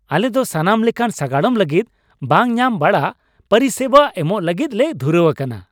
ᱟᱞᱮ ᱫᱚ ᱥᱟᱱᱟᱢ ᱞᱮᱠᱟᱱ ᱥᱟᱜᱟᱲᱚᱢ ᱞᱟᱹᱜᱤᱫ ᱵᱟᱝ ᱧᱟᱢ ᱵᱟᱲᱟᱜ ᱯᱚᱨᱤᱥᱮᱵᱟ ᱮᱢᱚᱜ ᱞᱟᱹᱜᱤᱫ ᱞᱮ ᱫᱷᱩᱨᱟᱹᱣ ᱟᱠᱟᱱᱟ ᱾